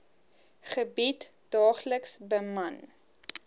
gebied daagliks beman